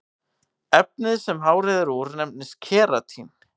efnið sem hárið er úr nefnist keratín